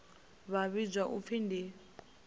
vha vhidzwa u pfi ndi